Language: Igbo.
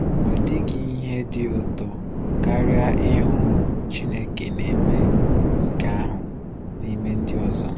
Ọ dịghị ihe dị ụtọ karịa ịhụ Chineke na-eme nke ahụ n’ime ndị ọzọ.